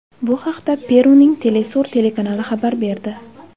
Bu haqda Peruning Telesur telekanali xabar berdi.